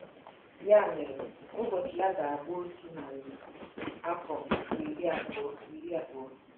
Ya mere, ụbọchị ya ga-abụ otu narị afọ na iri abụọ iri abụọ. ”